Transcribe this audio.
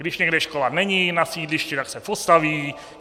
Když někde škola není na sídlišti, tak se postaví.